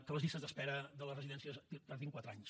que les llistes d’espera de les residències tardin quatre anys